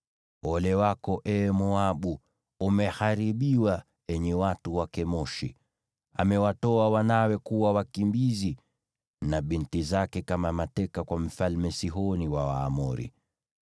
Ole wako, ee Moabu! Umeharibiwa, enyi watu wa Kemoshi! Amewatoa wanawe kuwa wakimbizi, na binti zake kama mateka kwa Mfalme Sihoni wa Waamori.